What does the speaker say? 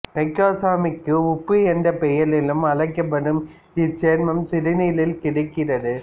microcosmic உப்பு என்ற பெயராலும் அழைக்கப்படும் இச்சேர்மம் சிறுநீரில் கிடைக்கிறது